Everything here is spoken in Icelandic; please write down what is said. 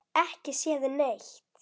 Ekki séð neitt.